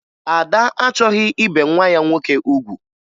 Ada achọghị ibe nwa ya nwoke ugwu